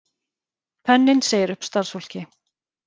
Penninn segir upp starfsfólki